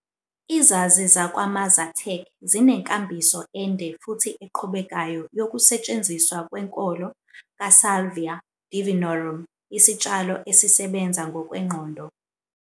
Izazi zakwaMazatec zinenkambiso ende futhi eqhubekayo yokusetshenziswa kwenkolo "kaSalvia divinorum" isitshalo esisebenza ngokwengqondo.